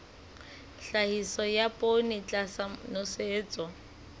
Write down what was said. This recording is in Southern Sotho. tlhahiso ya poone tlasa nosetso